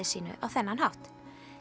sínu á þennan hátt